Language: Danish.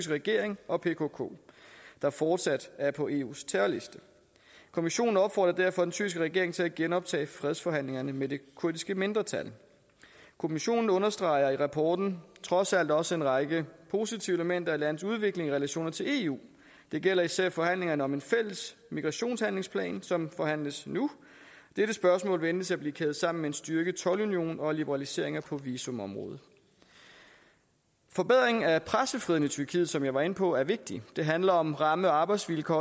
regering og pkk der fortsat er på eus terrorliste kommissionen opfordrer derfor den tyrkiske regering til at genoptage fredsforhandlingerne med det kurdiske mindretal kommissionen understreger i rapporten trods alt også en række positive elementer i landets udvikling i relationerne til eu det gælder især forhandlingerne om en fælles migrationshandlingsplan som forhandles nu dette spørgsmål ventes at blive kædet sammen med en styrket toldunion og liberaliseringer på visumområdet forbedring af pressefriheden i tyrkiet som jeg var inde på er vigtig det handler om ramme og arbejdsvilkår